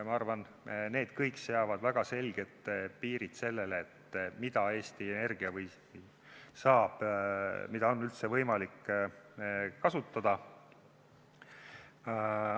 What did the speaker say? Ma arvan, need kõik seavad väga selged piirid sellele, mida Eesti Energia saab kasutada ja mida on üldse võimalik kasutada.